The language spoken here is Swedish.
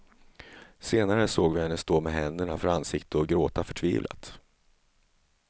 Senare såg vi henne stå med händerna för ansiktet och gråta förtvivlat.